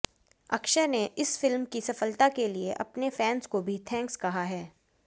अक्षय ने इस फिल्म की सफलता के लिए अपने फैंस को भी थैंक्स कहा है